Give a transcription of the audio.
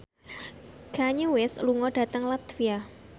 Kanye West lunga dhateng latvia